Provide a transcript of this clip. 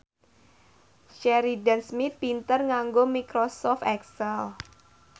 Sheridan Smith pinter nganggo microsoft excel